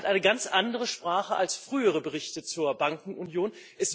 Er hat eine ganz andere Sprache als frühere Berichte zur Bankenunion.